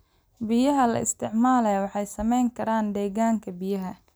Biyaha la isticmaalo waxay saamayn karaan deegaanka biyaha.